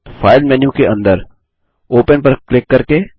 file menu के अंदर open पर क्लिक करके